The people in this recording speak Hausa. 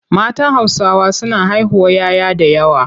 Matan Hausawa suna haihuwar 'ya 'ya da yawa.